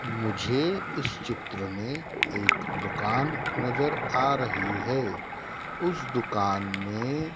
मुझे इस चित्र में एक दुकान नजर आ रही है उस दुकान में--